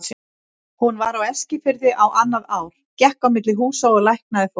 Hún var á Eskifirði á annað ár, gekk á milli húsa og læknaði fólk.